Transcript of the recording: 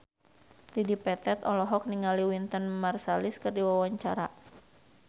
Dedi Petet olohok ningali Wynton Marsalis keur diwawancara